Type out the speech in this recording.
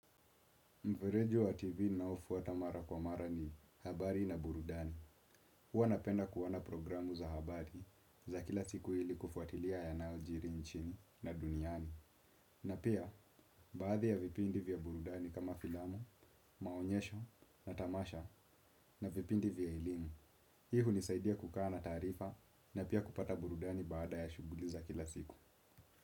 Mfereji wa TV ninaofuata mara kwa mara ni habari na burudani. Huwa napenda kuona programu za habari za kila siku ili kufuatilia yanayo jiri nchini na duniani. Na pia baadhi ya vipindi vya burudani kama filamu maonyesho matamasha na vipindi vya elimu hii hunisaidia kukaa na taarifa na pia kupata burudani baada ya shughuli za kila siku.